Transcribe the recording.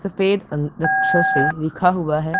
सफेद से लिखा हुआ है।